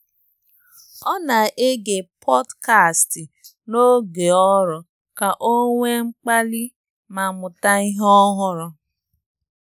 Ọ́ nà-égé pọ́dkástị̀ n’ógè ọ́rụ́ kà ọ́ nwèé mkpàlí mà mụ̀tá ìhè ọ́hụ́rụ́.